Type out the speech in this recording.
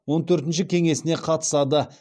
он төртінші кеңесіне қатысады